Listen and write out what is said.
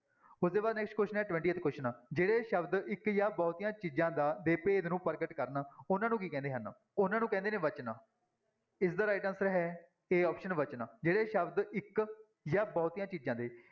ਉਹਦੇ ਬਾਅਦ next question ਹੈ twentieth question ਜਿਹੜੇ ਸ਼ਬਦ ਇੱਕ ਜਾਂ ਬਹੁਤੀਆਂ ਚੀਜ਼ਾਂ ਦਾ ਦੇ ਭੇਦ ਨੂੰ ਪ੍ਰਗਟ ਕਰਨ ਉਹਨਾਂ ਨੂੰ ਕੀ ਕਹਿੰਦੇ ਹਨ, ਉਹਨਾਂ ਨੂੰ ਕਹਿੰਦੇ ਨੇ ਵਚਨ, ਇਸਦਾ right answer ਹੈ a option ਵਚਨ ਜਿਹੜੇ ਸ਼ਬਦ ਇੱਕ ਜਾਂ ਬਹੁਤੀਆਂ ਚੀਜ਼ਾਂ ਦੇ